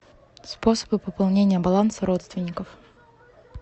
способы пополнения баланса родственников